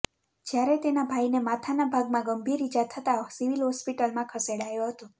જ્યારે તેના ભાઈને માથાના ભાગમાં ગંભીર ઇજા થતા સિવિલ હોસ્પિટલમાં ખેસેડાયો હતો